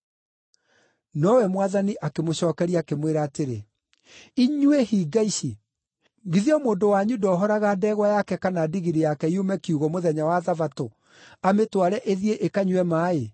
Nowe Mwathani akĩmũcookeria, akĩmwĩra atĩrĩ, “Inyuĩ hinga ici! Githĩ o mũndũ wanyu ndohoraga ndegwa yake kana ndigiri yake yume kiugũ mũthenya wa Thabatũ, amĩtware ĩthiĩ ĩkanyue maaĩ?